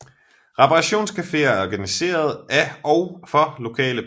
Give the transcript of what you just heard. Reparationscaféer er organiseret af og for lokale beboere